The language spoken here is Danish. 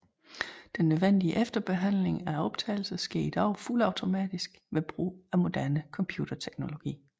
Den nødvendige efterbehandling af optagelserne sker i dag fuldautomatisk ved brug af moderne computerteknologi